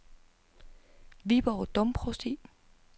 Viborg Domprovsti